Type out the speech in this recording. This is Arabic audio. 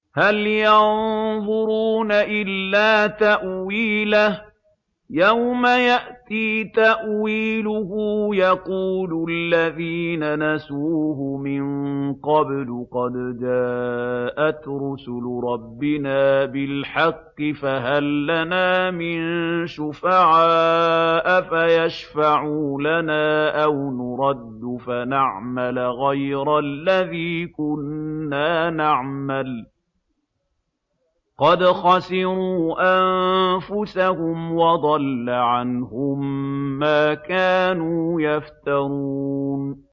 هَلْ يَنظُرُونَ إِلَّا تَأْوِيلَهُ ۚ يَوْمَ يَأْتِي تَأْوِيلُهُ يَقُولُ الَّذِينَ نَسُوهُ مِن قَبْلُ قَدْ جَاءَتْ رُسُلُ رَبِّنَا بِالْحَقِّ فَهَل لَّنَا مِن شُفَعَاءَ فَيَشْفَعُوا لَنَا أَوْ نُرَدُّ فَنَعْمَلَ غَيْرَ الَّذِي كُنَّا نَعْمَلُ ۚ قَدْ خَسِرُوا أَنفُسَهُمْ وَضَلَّ عَنْهُم مَّا كَانُوا يَفْتَرُونَ